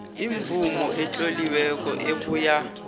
imvumo etloliweko ebuya